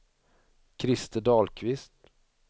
Christer Dahlqvist